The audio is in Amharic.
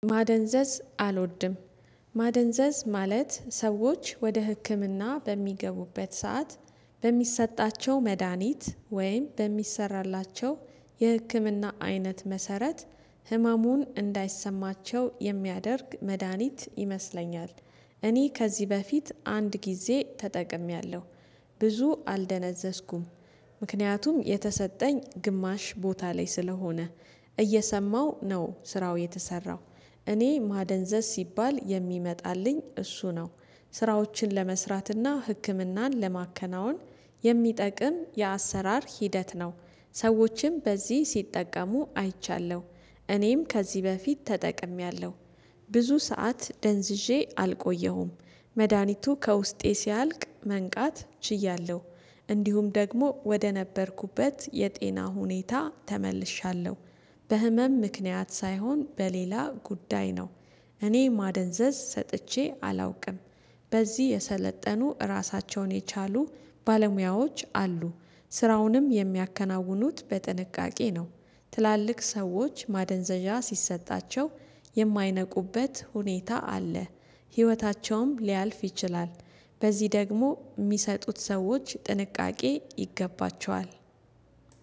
ማደንዘዝ አልወድም። ማደንዘዝ ማለት ሰዎች ወደ ህክምና በሚገቡበት ሰዓት በሚሰጣቸው መድሃኒት ወይም በሚሰራላቸው የህክምና አይነት መሰረት ህመሙን እንዳይሰማቸው የሚያደርግ መድሃኒት ይመስለኛል። እኔ ከዚህ በፊት አንድ ጊዜ ተጠቅሜያለሁ። ብዙ አልደነዘዝኩም። ምክንያቱም የተሰጠኝ ግማሽ ቦታ ላይ ስለሆነ እየሰማሁ ነው ስራው የተሰራው። እኔ ማደንዘዝ ሲባል የሚመጣልኝ እሱ ነው። ስራዎችን ለመስራትና ህክምናን ለማከናወን የሚጠቅም የአሰራር ሂደት ነው። ሰዎችም በዚህ ሲጠቀሙ አይቻለሁ። እኔም ከዚህ በፊት ተጠቅሜያለሁ። ብዙ ሰዓት ደንዝዤ አልቆየሁም። መድሃኒቱ ከውስጤ ሲያልቅ መንቃት ችያለሁ። እንዲሁም ደግሞ ወደ ነበርኩበት የጤና ሁኔታ ተመልሻለሁ። በህመም ምክንያት ሳይሆን በሌላ ጉዳይ ነው። እኔ ማደንዘዝ ሰጥቼ አላውቅም። በዚህ የሰለጠኑ እራሳቸውን የቻሉ ባለሙያዎች አሉ። ስራውንም የሚያከናውኑት በጥንቃቄ ነው። ትላልቅ ሰዎች ማደንዘዣ ሲሰጣቸው የማይነቁበት ሁኔታ አለ። ህይወታቸውም ሊያልፍ ይችላል። በዚህ ደግሞ የሚሰጡት ሰዎች ጥንቃቄ ይገባቸዋል።